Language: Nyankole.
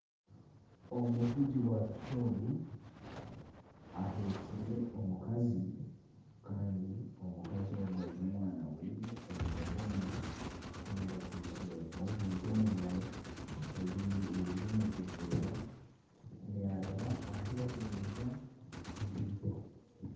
Omuvugi wa piki ogu ahekire omukazi kandi omukazi ogu aine omwana we omu mugongo kandi akwitse n'ebintu omu ngaro ebiri omu buveera yaaraba ahu barikuguriza ekaito